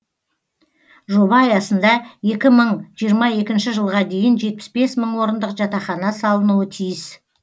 жоба аясында екі мың жиырма екінші жылға дейін жетпіс бес мың орындық жатақхана салынуы тиіс